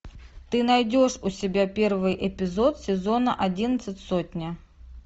ты найдешь у себя первый эпизод сезона одиннадцать сотня